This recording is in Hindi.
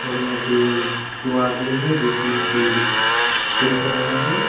और यहां पे दो आदमी है जो कि इसे देख रहा है।